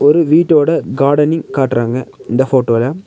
ஒரு வீட்டோட கார்டனிங் காட்றாங்க இந்த போட்டோல .